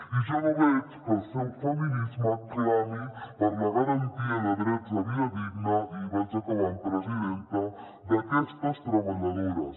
i jo no veig que el seu feminisme clami per la garantia de drets de vida digna i vaig acabant presidenta d’aquestes treballadores